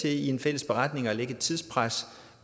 i en fælles beretning kan lægge et tidspres